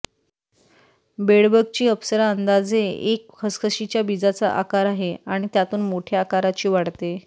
बेडबगची अप्सरा अंदाजे एक खसखशीचा बीजाचा आकार आहे आणि त्यातून मोठ्या आकाराची वाढते